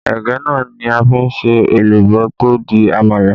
Ẹ̀gẹ́ náà ni a fi n se èlùbọ́ tó di àmàlà